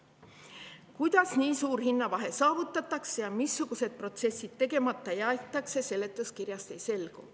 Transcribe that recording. Kuidas nii suur hinnavahe saavutatakse ja missugused protsessid seepärast tegemata jäetakse, seletuskirjast ei selgu.